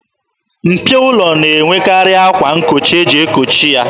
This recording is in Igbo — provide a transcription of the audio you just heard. Mpio ụlọ na-enwekarị akwa nkochi eji ekochi ya.